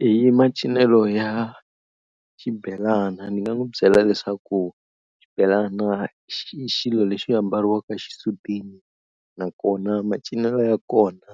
Hi macinelo ya xibelani ni nga n'wi byela leswaku xibelana xilo lexi ambariwaka xisutini nakona macinelo ya kona